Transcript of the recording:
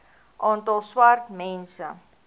aantal swart mense